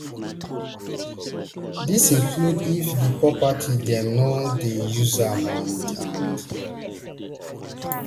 dis include if di property dem no dey use am and and